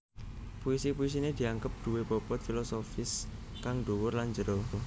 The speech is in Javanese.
Puisi puisiné dianggep duwé bobot filosofis kang dhuwur lan jero